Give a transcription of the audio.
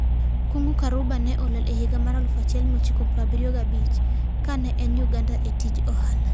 Kung'u Karumba ne olal e higa mar 1975, ka ne en Uganda e tij ohala.